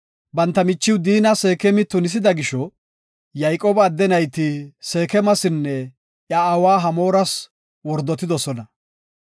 Banta michiw Diina Seekemi tunisida gisho, Yayqooba adde nayti Seekemasinne iya aawa Hamooras wordotidosona.